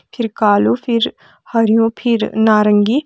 फिर कालू फिर हरयूं फिर नारंगी --